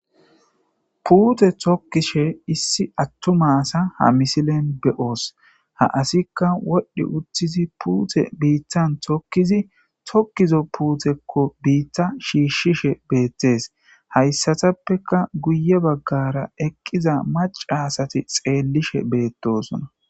Pute tokishe issi atuma asa ha misilen be'os. Ha asika wodh utid pute bitan tokid tokizo puteko biita shiishishe betes. Haysatappeka guye bagara eqida maca asat xelishe betesona .